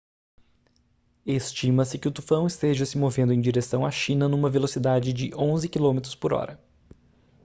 estima-se que o tufão esteja se movendo em direção à china numa velocidade de 11 quilômetros por hora